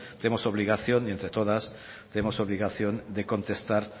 tenemos obligación y entre todas tenemos obligación de contestar